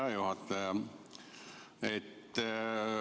Hea juhataja!